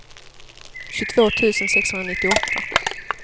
tjugotvå tusen sexhundranittioåtta